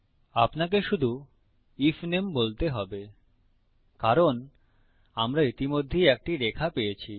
আপনাকে শুধু আইএফ নামে বলতে হবে কারণ আমরা ইতিমধ্যেই একটি রেখা পেয়েছি